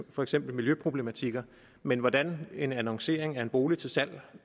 for eksempel miljøproblematikker men hvordan en annoncering af en bolig til salg